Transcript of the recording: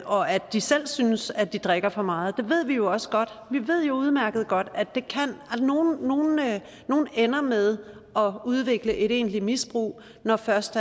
og at de selv synes at de drikker for meget ved vi jo også godt vi ved jo udmærket godt at nogle ender med at udvikle et egentligt misbrug når først